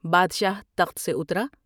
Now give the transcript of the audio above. بادشاہ تخت سے اترا ۔